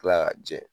Kila k'a jɛ